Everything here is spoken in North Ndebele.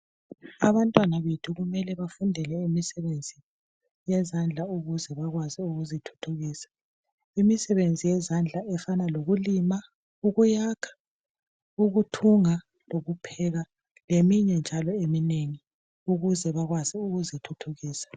Abantwana bethu kumele befunde leyo misebenzi yezandla ukuze bakwazi ukuzithuthukisa. Imisebenzi yezandla efana lokulima, ukuyakha, ukuthunga lokupheka leminye njalo eminengi ukuze bakwazi ukuzithuthukisa.